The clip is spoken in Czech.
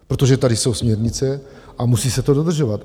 Protože tady jsou směrnice a musí se to dodržovat.